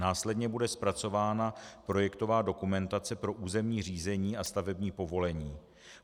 Následně bude zpracována projektová dokumentace pro územní řízení a stavební povolení.